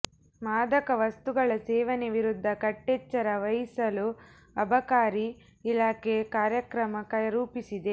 ಮಾದಕ ವಸ್ತುಗಳ ಸೇವನೆ ವಿರುದ್ಧ ಕಟ್ಟೆಚ್ಚರ ವಹಿಸಲು ಅಬಕಾರಿ ಇಲಾಖೆ ಕಾರ್ಯಕ್ರಮ ರೂಪಿಸಿದೆ